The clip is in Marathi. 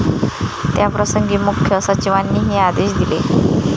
त्याप्रसंगी मुख्य सचिवांनी हे आदेश दिले आहे.